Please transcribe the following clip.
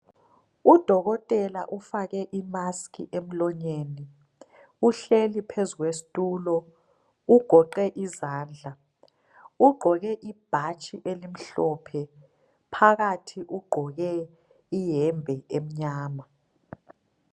Udokotela ufake imask emlonyeni uhlezi phezu kwesitulo ugoqe izandla ugqoke ibhatshi elimhlophe phakathi ugqoke iyembe emnyama.